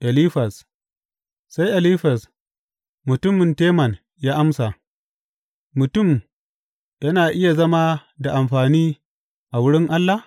Elifaz Sai Elifaz mutumin Teman ya amsa, Mutum yana iya zama da amfani a wurin Allah?